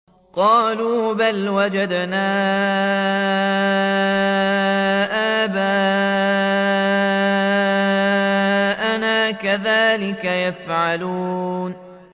قَالُوا بَلْ وَجَدْنَا آبَاءَنَا كَذَٰلِكَ يَفْعَلُونَ